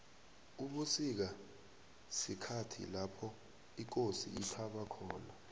ubusika sikhhathi lopho ikosi ithaba khona